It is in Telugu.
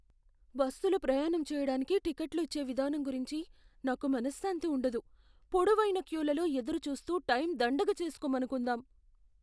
బస్సులో ప్రయాణం చేయడానికి టికెట్లు ఇచ్చే విధానం గురించి నాకు మనశ్శాంతి ఉండదు, పొడవైన క్యూలలో ఎదురుచూస్తూ టైం దండగ చేసుకోమనుకుందాం.